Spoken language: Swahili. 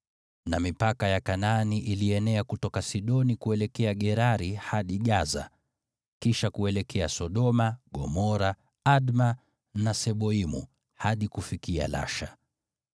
na mipaka ya Kanaani ilienea kutoka Sidoni kuelekea Gerari hadi Gaza, kisha kuelekea Sodoma, Gomora, Adma na Seboimu, hadi kufikia Lasha.